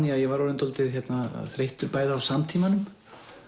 ég var orðinn dálítið þreyttur bæði á samtímanum